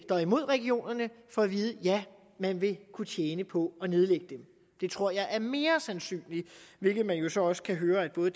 er imod regionerne får at vide ja man vil kunne tjene på at nedlægge dem det tror jeg er mere sandsynligt hvilket man jo så også kan høre at både